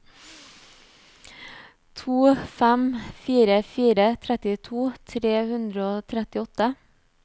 to fem fire fire trettito tre hundre og trettiåtte